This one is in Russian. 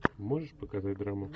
можешь показать драму